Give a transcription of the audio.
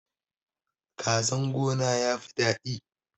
Kazan gona yafi dadi